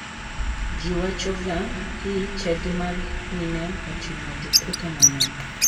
Ji wachoga hi chadi mar mine lilo oting'o jokwoth mang'eny.